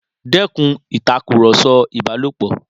Dẹ́kun ìtàkùrọ̀sọ ìbálòpọ̀!